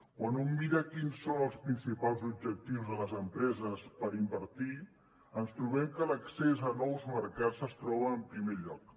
quan un mira quins són els principals objectius de les empreses per invertir ens trobem que l’accés a nous mercats es troba en primer lloc